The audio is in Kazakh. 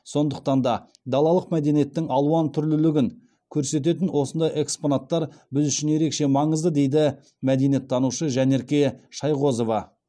сондықтан да далалық мәдениеттің алуантүрлілігін көрсететін осындай экспонаттар біз үшін ерекше маңызды дейді мәдениеттанушы жанерке шайғозова